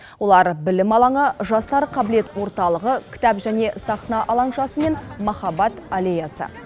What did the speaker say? олар білім алаңы жастар қабілет орталығы кітап және сахна алаңшасы мен махаббат аллеясы